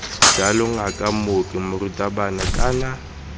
jalo ngaka mooki morutabana kana